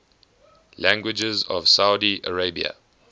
languages of saudi arabia